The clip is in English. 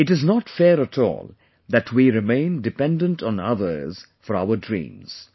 It is not fair at all that we remain dependant on others for our dreams